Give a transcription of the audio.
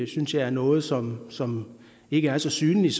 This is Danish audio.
synes jeg er noget som som ikke er så synligt